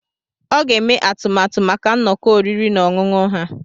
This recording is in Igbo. Ọ ga-eme atụmatụ maka nnọkọ oriri na ọṅụṅụ ha.